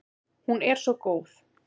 Hún er svo góð.